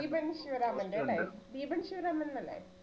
ദീപൻ ശിവരാമൻറെ അല്ലേ? ദീപൻ ശിവരാമൻ എന്നല്ലേ?